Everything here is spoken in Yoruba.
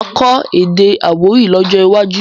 Mà á kọ́ èdè Àwórì lọ́jọ́ iwájú.